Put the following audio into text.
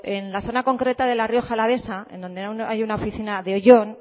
en la zona concreta de la rioja alavesa en donde hay una oficina en oyón